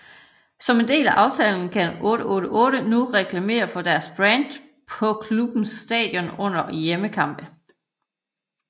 Som en del af aftalen kan 888 nu reklamere for deres brand på klubbens stadion under hjemmekampe